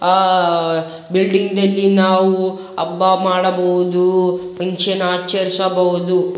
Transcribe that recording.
ಅಹ್ building ದಲ್ಲಿ ನಾವು ಹಬ್ಬ ಮಾಡಬಹುದು ಫನ್ ಕ್ಷನ್ ಆಚರಿಸಬಹುದು.